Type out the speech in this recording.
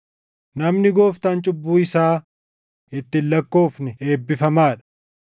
Namni Gooftaan cubbuu isaa itti hin lakkoofne eebbifamaa dha.” + 4:8 \+xt Far 32:1,2\+xt*